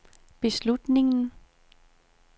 beslutningen